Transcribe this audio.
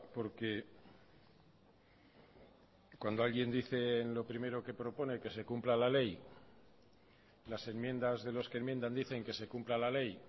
porque cuando alguien dice en lo primero que propone que se cumpla la ley las enmiendas de los que enmiendan dicen que se cumpla la ley